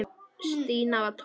Stína var tólf ára.